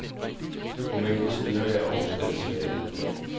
Romanens styrke er også dens svaghed.